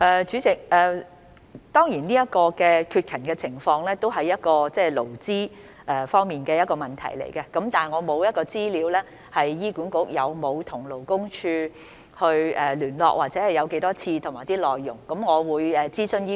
主席，現時提到的缺勤情況當然是勞資雙方的問題，但我手邊沒有關於醫管局曾否與勞工處聯絡、聯絡次數及討論內容的資料。